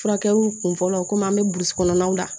Furakɛliw kunfɔlɔw komi an mɛ burusi kɔnɔnaw la